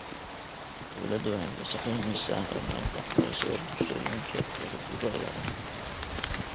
Dawladdu waxay ka shaqaynaysaa horumarinta waxbarashada bulshooyinka reer guuraaga ah.